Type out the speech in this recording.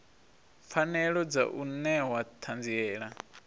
pfanelo dza u newa ṱhanziela